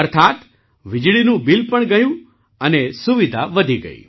અર્થાત વીજળીનું બિલ પણ ગયું અને સુવિધા વધી ગઈ